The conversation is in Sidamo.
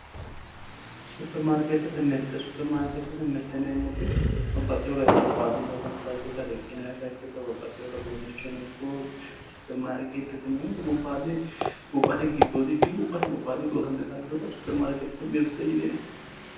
Super markeetete mirte. Super markeete mirte yineemmoti babbaxxewo garinni gobbayidi loosante dagge riqqinayita ikkito babbaxxitewota uduunnicho ikko supermarkeetete yineemmoti gobbatidi gobbate giddoodi ikkikki gobbate gobbayidi loosante daggewota supermarketete mirte yineemmo